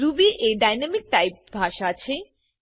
Ruby એ dynamic typed ભાષા છે